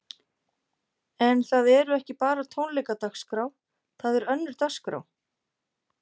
En það eru ekki bara tónleikadagskrá, það er önnur dagskrá?